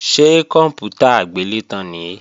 Ṣé kòǹpútà agbélétan nìí?